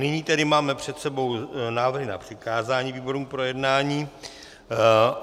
Nyní tedy máme před sebou návrhy na přikázání výborům k projednání.